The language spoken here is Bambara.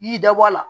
I y'i da bɔ a la